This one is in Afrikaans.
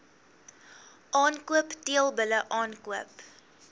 aankoop teelbulle aankoop